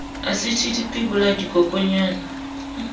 asiti dipi sebolaya dikokonyana le